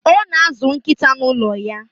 Ọ na-azụ nkịta n' ụlọ ya.